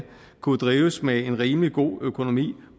kunne drives med en rimelig god økonomi